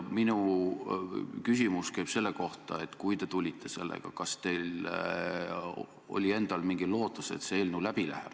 Minu küsimus käib selle kohta, et kui te selle eelnõuga tulite, kas teil oli siis endal mingi lootus, et see eelnõu läbi läheb.